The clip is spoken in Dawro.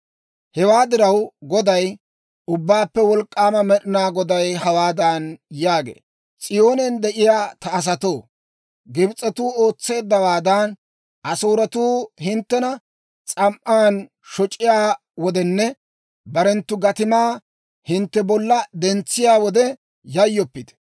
Hewaa diraw, Goday, Ubbaappe Wolk'k'aama Med'inaa Goday hawaadan yaagee; «S'iyoonen de'iyaa ta asatoo, Gibs'etuu ootseeddawaadan, Asooretuu hinttena s'am"an shoc'iyaa wodenne barenttu gatimaa hintte bolla dentsiyaa wode yayyoppite.